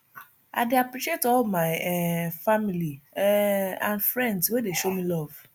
i dey appreciate all my um family um and friends wey dey show me love